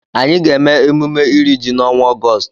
Anyị ga-eme emume iri ji n'ọnwa Ọgọọst.